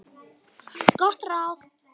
Gott ráð.